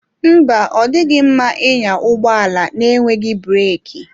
Mba, ọ dịghị mma ịnya ụgbọ ala n'enweghị breeki.